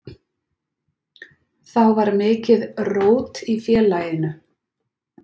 Þá var mikið rót í félaginu.